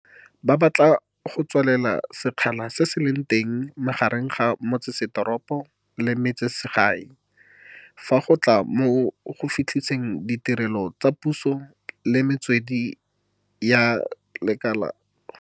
Ba batla go tswalela sekgala se se leng teng magareng ga metseseteropo le metsesele gae fa go tla mo go fitlheleleng ditirelo tsa puso le metswedi ya lekala la poraefete.